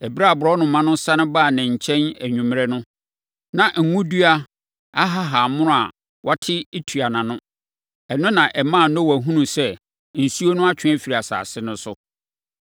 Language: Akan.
Ɛberɛ a aborɔnoma no sane baa ne nkyɛn anwummerɛ no, na ngo dua ahahammono a wate tua nʼano. Ɛno na ɛmaa Noa hunuu sɛ, nsuo no atwe afiri asase no so.